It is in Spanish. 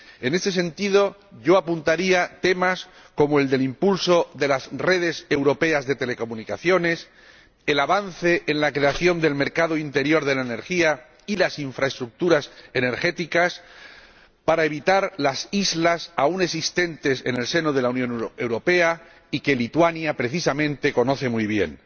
En ese sentido yo apuntaría temas como el del impulso de las redes europeas de telecomunicaciones, el avance en la creación del mercado interior de la energía y las infraestructuras energéticas, para evitar las islas aún existentes en el seno de la Unión Europea y que Lituania precisamente conoce muy bien